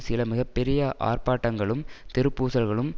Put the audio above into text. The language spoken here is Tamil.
சில மிக பெரிய ஆர்ப்பாட்டங்களும் தெரு பூசல்களும்